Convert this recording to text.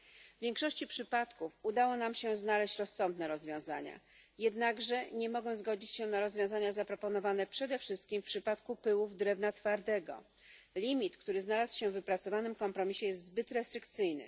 W większości przypadków udało nam się znaleźć rozsądne rozwiązania, jednakże nie mogę zgodzić się na rozwiązania zaproponowane przede wszystkim w przypadku pyłów drewna twardego. Limit, który znalazł się w wypracowanym kompromisie, jest zbyt restrykcyjny.